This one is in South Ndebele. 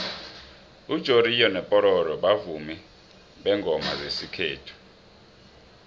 ujoriyo nopororo bavumi bengoma zesikhethu